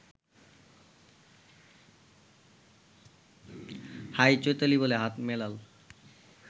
high Chaitali বলে হাত মেলাল